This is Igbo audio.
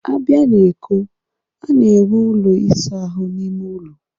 A bịa na Eko, a na-enwe ụlọ ịsa ahụ n'ime ụlọ